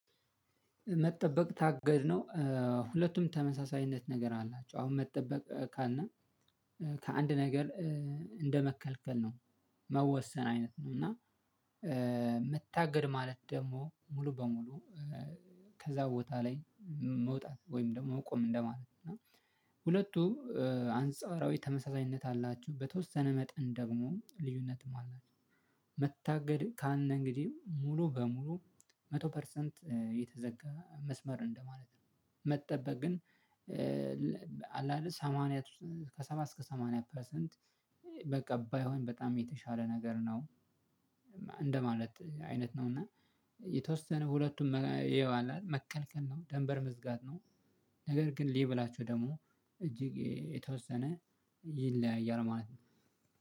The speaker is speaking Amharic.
መጠበቅ ታገድ ነው። ሁለቱም ተመሳሳይነት ነገር አላቸው አሁን መጠበቅ ካልን ከአንድ ነገር እንደመከልከል ነው። መወሰን አይነት ነው። እና መታገድ ማለት ደግሞ ሙሉ በሙሉ። ከዛ ቦታ ላይ መውጣት ወይም ደግሞ ቁም እንደማለት ነው። እና ሁለቱ አንጻራዊ ተመሳሳይነት አላችሁ በተወሰነ መጠን ደግሞ ልዩነትም አላቸው። መታገድ ካለ እንግዲህ ሙሉ በሙሉ መቶ ፐርሰንት የተዘጋ መስመር እንደማለት ነው። መጠበቅ ግን አለ አደል ሰማንያ ከሰባ እስከ ሰማንያ ፐርሰንት በቃ ባይሆን በጣም የተሻለ ነገር ነው። እንደማለት አይነት ነው እና የተወሰነ ሁለቱም ይኸው አለ አይደል መከልከል ነው ደንበር መዝጋት ነው። ነገር ግን ሌብላቸው ደግሞ እጅግ የተወሰነ ይለያያል ማለት ነው